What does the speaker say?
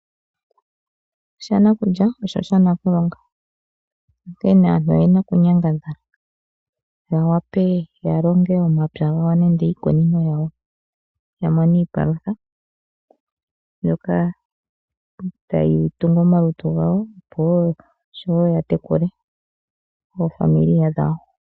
Shanakulya osho sha Nakulonga onkene aantu oyena oku nyangadhala ya wape yalonge omapya gawo nenge iikunino yawo yamone iipalutha mbyoka tayi tungu omalutu gawo oshowo ya tekule aakwanezimo yawo.